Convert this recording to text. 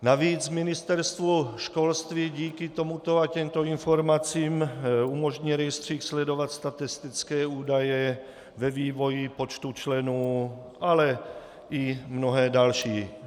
Navíc Ministerstvu školství díky tomuto a těmto informacím umožní rejstřík sledovat statistické údaje ve vývoji počtu členů, ale i mnohé další.